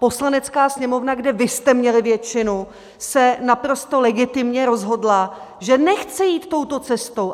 Poslanecká sněmovna, kde vy jste měli většinu, se naprosto legitimně rozhodla, že nechce jít touto cestou.